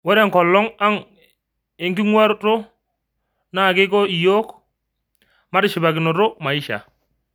Ore engolon ang' enkunguaroto naa keiko yiok matishipakinoto maisha.